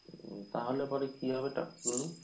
তাহলে পরে কী হবে টাকাগুলো?